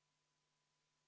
V a h e a e g